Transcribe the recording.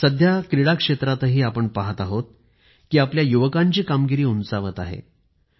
सध्या क्रीडा क्षेत्रातही आपण पाहत आहोत कि आपल्या युवकांची कामगिरी उंचावत आहे